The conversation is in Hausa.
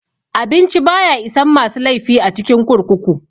Abinci baya isan masu laifi a cikin kurkuku.